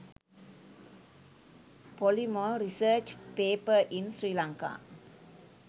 polymer research paper in sri lanka